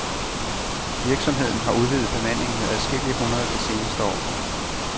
Virksomheden har udvidet bemandingen med adskillige hundrede det seneste år.